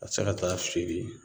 Ka se ka t'a feere